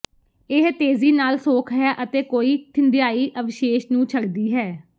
ਇਹ ਤੇਜ਼ੀ ਨਾਲ ਸੋਖ ਹੈ ਅਤੇ ਕੋਈ ਥਿੰਧਿਆਈ ਅਵਸ਼ੇਸ਼ ਨੂੰ ਛੱਡਦੀ ਹੈ